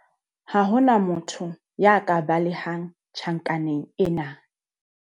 Ha ho na motho ya ka balehang tjhankaneng ena.